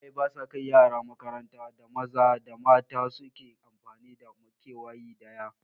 Iyaye ba sa kai yara makarantar da maza da mata su ke amfani da makewayi ɗaya